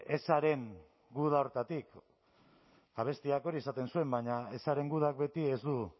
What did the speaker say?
ezaren guda horretatik abestiak hori esaten zuen baina ezaren gudak beti ez du